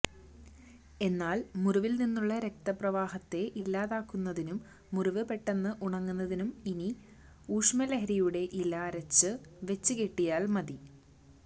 എന്നാൽ മുറിവിൽ നിന്നുള്ള രക്തപ്രവാഹത്തെ ഇല്ലാതാക്കുന്നതിനും മുറിവ് പെട്ടെന്ന് ഉണങ്ങുന്നതിനും ഇനി ഉഷമലരിയുടെ ഇല അരച്ച് വെച്ച് കെട്ടിയാൽ മതി